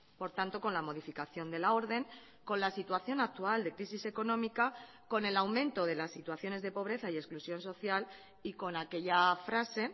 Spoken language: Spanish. por tanto con la modificación de la orden con la situación actual de crisis económica con el aumento de las situaciones de pobreza y exclusión social y con aquella frase